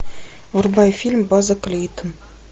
врубай фильм база клейтон